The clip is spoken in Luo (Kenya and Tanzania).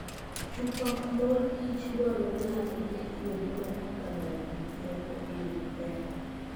Chupa morkich dwarore ni orit kuonde ma ikanoe gik moko e yo maber.